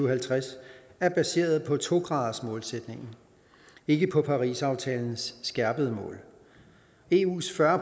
og halvtreds er baseret på to gradersmålsætningen ikke på parisaftalens skærpede mål eus fyrre